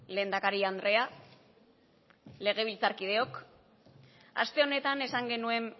lehendakari andrea legebiltzarkideok aste honetan esan genuen